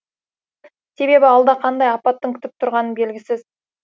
себебі алда қандай апаттың күтіп тұрғаны белгісіз